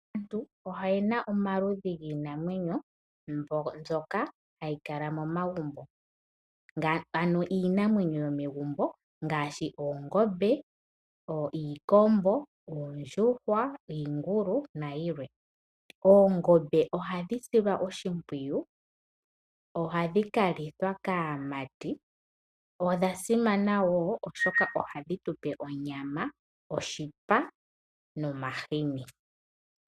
Aantu oyena omaludhi giinamwenyo mbyoka hayi kala mo magumbo, ano iinamwenyo yo megumbo ngaashi Oongombe, Iikombo, Oondjuhwa, Iingulu na yilwe. Oongombe ohadhi silwa oshimpwiyu, ohadhi ka lithwa kaamati. Odha simana woo oshoka ohadhi tupe onyama, oshipa, no mahini.